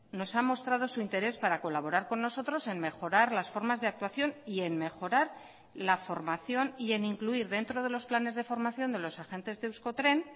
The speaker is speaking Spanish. nos ha mostrado su interés para colaborar con nosotros en mejorar las formas de actuación y en mejorar la formación y en incluir dentro de los planes de formación de los agentes de euskotren